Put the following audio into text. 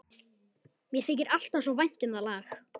Mér þykir alltaf svo vænt um það lag.